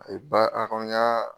A ye ba a kɔni y'a